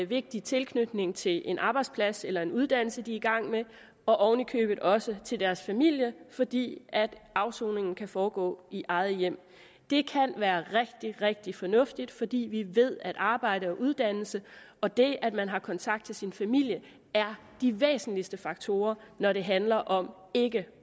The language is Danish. vigtig tilknytning til en arbejdsplads eller en uddannelse de er i gang med og ovenikøbet også til deres familie fordi afsoningen kan foregå i eget hjem det kan være rigtig rigtig fornuftigt fordi vi ved at arbejde og uddannelse og det at man har kontakt til sin familie er de væsentligste faktorer når det handler om ikke